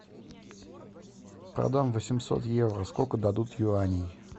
продам восемьсот евро сколько дадут юаней